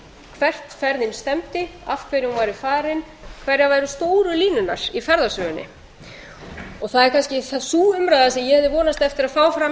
hvert ferðin stefndi af hverju hún væri farin hverjar væru stóru línurnar í ferðasögunni það er kannski sú umræða sem ég hefði vonast eftir að fá fram